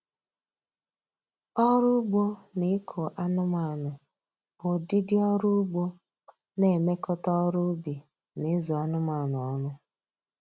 Ọrụ ugbo na ịkụ anụmanụ bụ ụdịdị ọrụ ugbo na-emekọta ọrụ ubị na ịzụ anụmanụ ọnụ